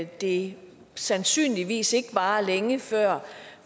det sandsynligvis ikke varer længe før